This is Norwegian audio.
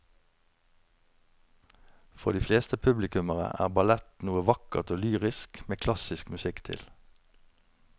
For de fleste publikummere er ballett noe vakkert og lyrisk med klassisk musikk til.